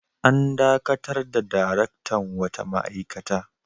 An dakatar da daraktan wata ma'aikata.